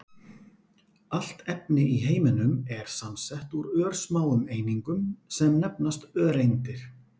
Allt efni í heiminum er samsett úr örsmáum einingum sem nefnast öreindir.